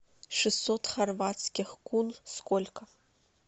шестьсот хорватских кун сколько